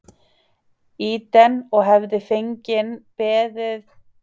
Eden og hefði feginn beðið þar uns Eva kæmi að finna mig.